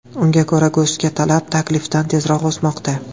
Unga ko‘ra, go‘shtga talab taklifdan tezroq o‘smoqda.